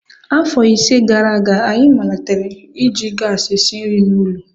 Afọ ise gara aga, anyị malitere iji gasi esi nri n'ụlọ.